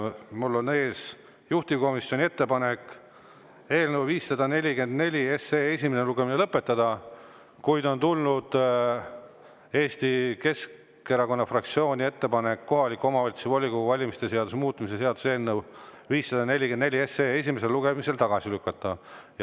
Mul on ees juhtivkomisjoni ettepanek, et eelnõu 544 esimene lugemine tuleks lõpetada, kuid on tulnud Eesti Keskerakonna fraktsiooni ettepanek kohaliku omavalitsuse volikogu valimise seaduse muutmise seaduse eelnõu 544 esimesel lugemisel tagasi lükata.